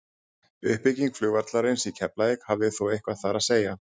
uppbygging flugvallarins í keflavík hafði þó eitthvað þar að segja